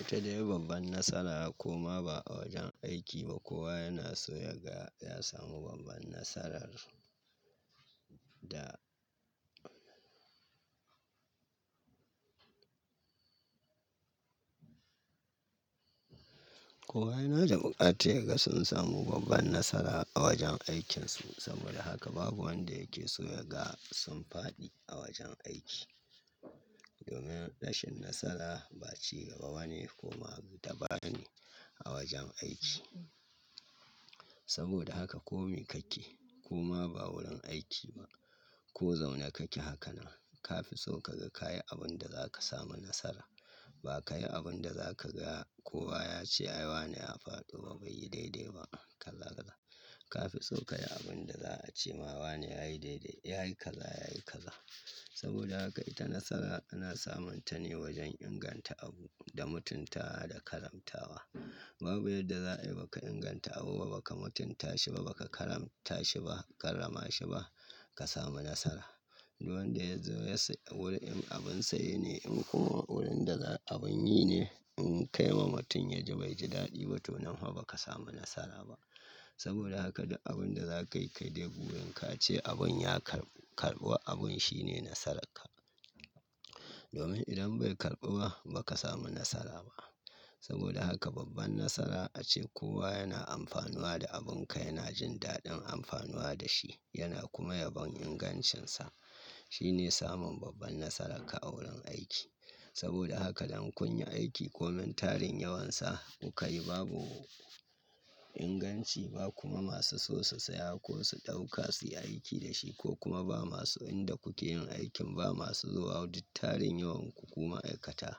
Ita dai babban nasara, ko ma ba a wajen aiki ba kowa yana so ya ga ya samu babban nasara. Kowa yana da buƙatar ya ga sun samu babban nasara, a wajen aikinsu. Saboda haka babu wanda yake so ya ga sun faɗi, a wajen aiki. Domin rashin nasara, baci gaba ba ne kuma tabani a wajen aiki. Saboda haka kome kake, ko ma ba wurin aiki ba, ko zaune kake haka nan, ka fi so ka ga kayi abun da za ka samu nasara. Ba ka yi abun da za ka ga, kowa ya ce ai wane ya faɗi ba, bai yi daidai ba. Ka fi so ka yi abun da za a ce ma wane ya yi daidai, ya yi kaza, ya yi kaza. Saboda haka ita nasara ana samun ta ne wajen inganta abu, da mutuntawa, da karamtawa. Babu yadda za ayi ba ka inganta abu ba, ba ka mutunta shi ba, ba ka karamta shi ba, karrama shi ba, ka samu nasara. Duk wanda ya zo ya sa, wurin in abin saye ne, in kuma wurin da za, abun yi ne. In ka yi wa mutum yaji bai ji daɗi ba, to nan hwa ba ka samu nasara ba. Saboda haka duk abun da za ka yi, kai dai burin ka ce abun ya karɓu, karɓuwa abun shine nasararka. Domin idan bai karɓu ba, ba ka samu nasara ba. Saboda haka babban nasara, a ce kowa yana amfanuwa da abunka, yana jin daɗin amfanuwa da shi, yana kuma yabon ingancinsa. Shi ne samun babban nasararka, a wurin aiki. Saboda haka dan kun yi aiki komen tarin yawansa, kuka yi babu inganci, ba kuma masu so su saya, ko su ɗauka su yi aiki da shi, ko kuma ba masu inda kuke yin aikin ba masu zuwa, duk tarin yawan ku, ku ma'aikata,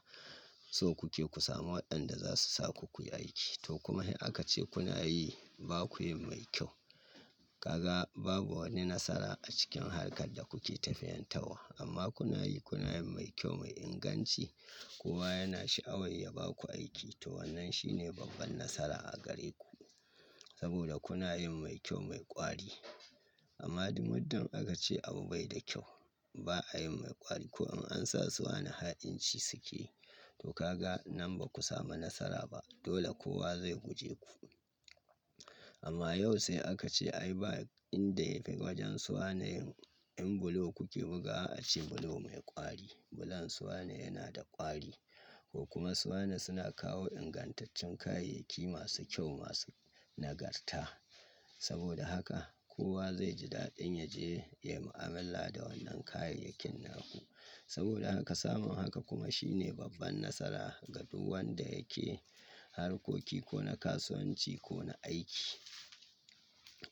so kuke ku samu waɗanda za su sa ku kuyi aiki. To kuma in aka ce kuna yi, ba kuyin mai kyau, ka ga babu wani nasara a cikin harkar da kuke tafiyentawwa, amma kuna yi, kuna yin mai kyau, mai inganci, Kowa yana sha'awa ya ba ku aiki. To wannan shine babban nasara a gare ku. Saboda kuna yin mai kyau, mai ƙwari. Amma du muddin aka ce abu bai da kyau, ba a yi mai ƙwari, ko in an sa su wane ha'inci suke. To ka ga nan ba ku samu nasara ba. Dole kowa zai guje ku. Amma yau sai aka ce ai ba inda ya kai wajen su wane, in bulo kuke buga wa a ce bulo mai ƙwari. Bulon su wane yana da ƙwari. Ko kuma su wane suna kawo ingantaccen kayayyaki masu kyau, masu nagarta. Saboda haka, kowa zai ji daɗin ya je, ya yi mu'amalla da wannan kayayyakin naku. Saboda haka samun haka kuma shine babban nasara, ga duk wanda yake harkoki, ko na kasuwanci ko na aiki.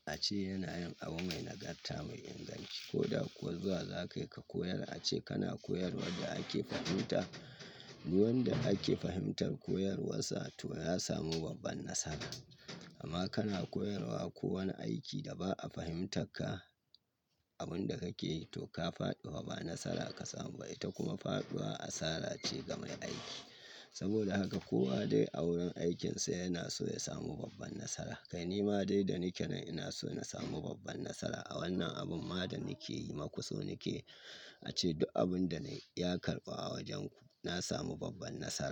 A ce yana yin abu mai nagarta, mai inganci. Ko da kuwa zuwa za ka yi ka koyar, a ce kana koyarwad da ake fahimta. Duk wanda ake fahimtar koyarwarsa to ya samu babban nasara. Amma kana koyarwa, ko wani aiki da ba a fahimtak ka, abun da kake yi to ka faɗi hwa ba nasara ka samu ba. Ita kuma faɗuwa asara ce ga mai aiki. Saboda haka kowa dai a wurin aikinsa yana so ya samu babban nasara. Kai nima dai da nike nan ina so in samu babban nasara, a wannan abun ma da nike yi maku so nike a ce duk abun da na yi, ya karɓu a wajenku. Na samu babban nasara.